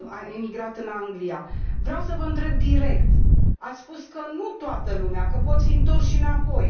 emigrat în Anglia. Vreau să vă întreb direct ați spus că nu toată lumea, că pot fi întorși înapoi.